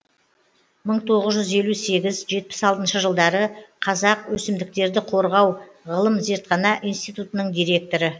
мың тоғыз жүз елу сегіз жетпіс алтыншы жылдары қазақ өсімдіктерді қорғау ғылым зертхана институтының директоры